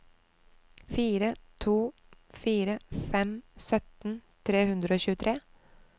fire to fire fem sytten tre hundre og tjuetre